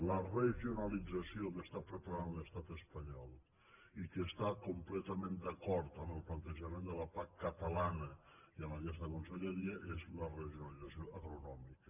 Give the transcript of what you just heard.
la regionalització que està preparant l’estat espanyol i que està completament d’acord amb el plantejament de la pac catalana i amb aquesta conselleria és la regionalització agronòmica